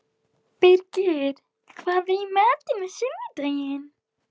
Birgir, hvað er í matinn á sunnudaginn?